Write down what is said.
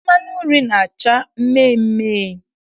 Mmanụ nri na-acha mmeemee.